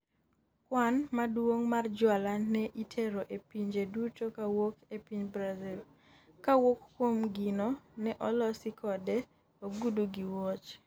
kwan' maduong' mar jwala ne itero e pinje duto kowuok e piny Brazil, kowuok kuom gino ne olosi kode, ogudu gi wuoche